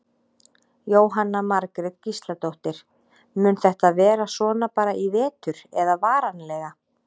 Jóhanna Margrét Gísladóttir: Mun þetta vera svona bara í vetur eða varanlega?